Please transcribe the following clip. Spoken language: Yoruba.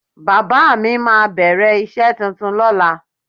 Bàbá mi máa bẹ̀rẹ̀ iṣẹ́ tuntun lóla.